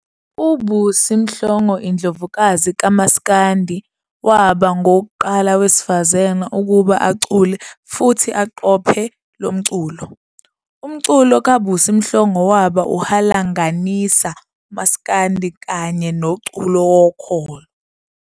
UBusi Mhlongo, Indlovukazi kaMaskandi, waba ngowokuqala wesifazane ukuba acule futhi aqophe lomculo, umculo kaBusi Mhlongo waba uhalanganisa umaskandi kanye noculo wokholo.